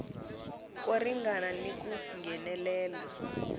ko ringana ni ku nghenelela